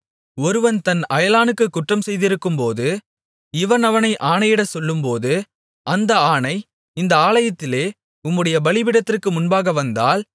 ஒருவன் தன் அயலானுக்குக் குற்றம் செய்திருக்கும்போது இவன் அவனை ஆணையிடச் சொல்லும்போது அந்த ஆணை இந்த ஆலயத்திலே உம்முடைய பலிபீடத்திற்கு முன்பாக வந்தால்